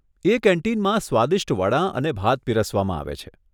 એ કેન્ટીનમાં સ્વાદિષ્ટ વડાં અને ભાત પીરસવામાં આવે છે.